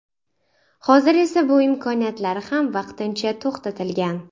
Hozir esa bu imkoniyatlari ham vaqtincha to‘xtatilgan.